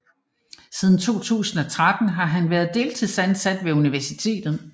Siden 2013 har han været deltidsansat ved universitetet